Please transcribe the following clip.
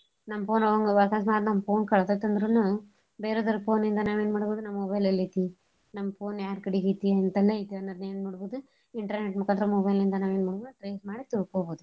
ನಮ್ phone ಅಕಸ್ಮಾತ್ ನಮ್ phone ಕಳ್ದೇತಂದ್ರನು ಬೇರೆದೋರ್ phone ಇಂದ ನಾವ್ ಎನ್ ಮಾಡ್ಬೋದು ನಮ್ mobile ಎಲೈತಿ ನಮ್ phone ಯಾರ್ ಕಡೆಗ್ ಐತಿ ಹಿಂತಲ್ಲೆ ಐತೀ ಅನ್ನೋದ್ ಎನ್ ಮಾಡ್ಬೋದು internet ಮುಕಾಂತ್ರ mobile ಇಂದ ನಾವ್ ಎನ್ ಮಾಡ್ಬೋದು trace ಮಾಡಿ ತಿಳ್ಕೋಬೋದು.